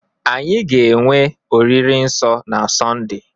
anyị ga-enwe oriri nsọ na Sọnde